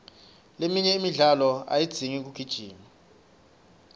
leminye imidlalo ayidzingi kugijima